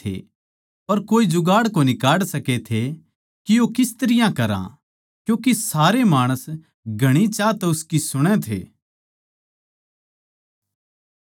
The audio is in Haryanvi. पर कोए जुगाड़ कोनी काढ सकै थे के यो किस तरियां करा क्यूँके सारे माणस घणे चाह तै उसकी सुणै थे